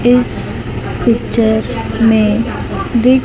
इस पिक्चर में दिख--